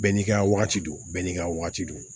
Bɛɛ n'i ka wagati don bɛɛ n'i ka wagati don